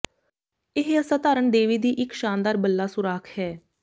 ਇਹ ਅਸਾਧਾਰਣ ਦੇਵੀ ਦੀ ਇੱਕ ਸ਼ਾਨਦਾਰ ਬੱਲਾ ਸੁਰਾਖ ਹੈ